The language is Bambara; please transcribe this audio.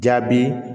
Jaabi